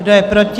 Kdo je proti?